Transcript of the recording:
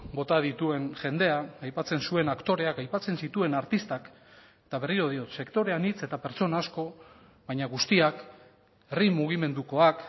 bota dituen jendea aipatzen zuen aktoreak aipatzen zituen artistak eta berriro diot sektore anitz eta pertsona asko baina guztiak herri mugimendukoak